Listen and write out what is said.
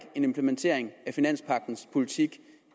en implementering af finanspagtens politik